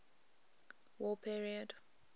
war period